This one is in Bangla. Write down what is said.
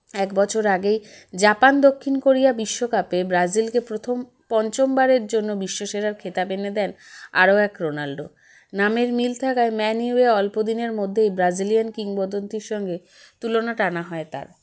এক বছর আগেই জাপান দক্ষিণ কোরিয়া বিশ্বকাপে ব্রাজিলকে প্রথম পঞ্চমবারের জন্য বিশ্বসেরার খেতাব এনে দেন আরও এক রোনাল্ডো নামের মিল থাকায় ম্যানুইয়ে অল্পদিনের মধ্যেই Brazilian কিংবদন্তীর সঙ্গে তুলনা টানা হয় তার